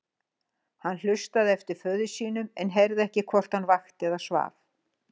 Hann hlustaði eftir föður sínum en heyrði ekki hvort hann vakti eða svaf.